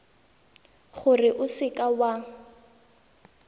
gore o seka w a